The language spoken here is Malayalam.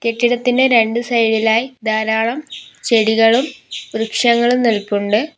കെട്ടിടത്തിന് രണ്ട് സൈഡിലായി ധാരാളം ചെടികളും വൃക്ഷങ്ങളും നിൽപ്പുണ്ട്.